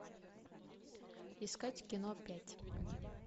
искать кино пять